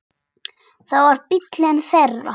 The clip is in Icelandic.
Það var bíllinn þeirra.